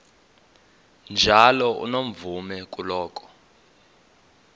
njalo unomvume kuloko